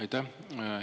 Aitäh!